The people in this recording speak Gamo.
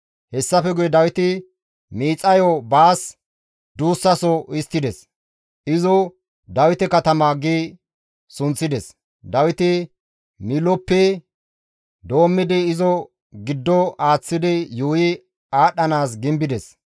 Hessafe guye Dawiti miixayo baas duussaso histtides; izo, «Dawite katama» gi sunththides. Dawiti Miiloppe doommidi izo giddo aaththidi yuuyi aadhdhanaas gimbides.